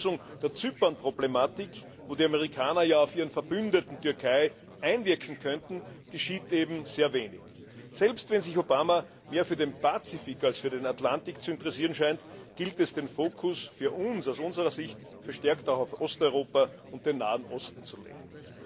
zur Lösung der Zypern Problematik, wo die Amerikaner ja auf ihren Verbündeten Türkei einwirken könnten, geschieht eben sehr wenig. Selbst wenn sich Obama mehr für den Pazifik als für den Atlantik zu interessieren scheint, gilt es, den Fokus aus unserer Sicht verstärkt auch auf Osteuropa und den Nahen Osten zu legen.